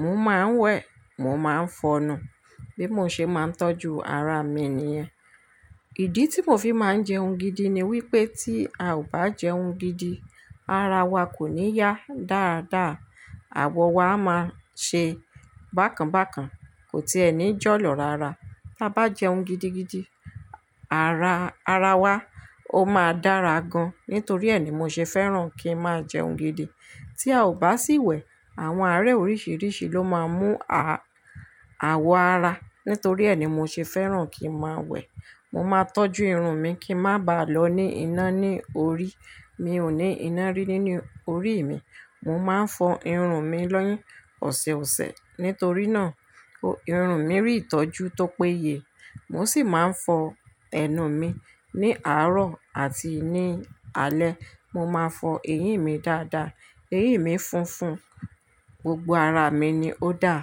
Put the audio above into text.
mo máa ń wẹ̀, mo máa ń fọnu. Bí mo ṣe máa ń tọ́jú ara mi nìyẹn. Ìdí tí mo fi máa ń jẹun gidi ni wí pé tí a ò bá jẹun gidi, ara wa kò ní yá dáadáa, àwọ̀ wa máa ṣe bákanbákan, kò tí ẹní jọ̀ yàn lára. Tí a bá jẹun gidigidi, ara, ara wa ó máa dára gan-an. Nítorí ẹ ni mo ṣe fẹ́ràn kí n máa jẹun gidi. Tí a ò bá sì wẹ̀, àwọn àárẹ̀ oríṣìíríṣìí ló máa mú àwọ̀ ara. Nítorí ẹ ni mo ṣe fẹ́ràn kí n máa wẹ̀. Mo máa tọ́jú irun mi kí ń má ba à lọ ní iná ní orí. Mi ò ní iná rí nínú orí mi. Mo máa ń fọ irun mi ní ọ̀sọ̀ọ̀sẹ̀. Nítorí náà irun mi rí ìtọ́jú tó péye. Mo sì máa ń fọ ẹnu mi. Ní àárọ̀ àti ní alẹ́, mo máa fọ eyín mi dáadáa. Eyín mi funfun, gbogbo ara mi ni ó dáa.